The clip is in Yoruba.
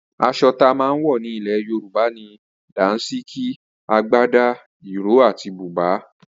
Aso tama wo ni ile yoruba ni; Dansiki, Agbada, Iro ati buba